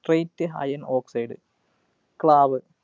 straight iron oxide ക്ലാവ്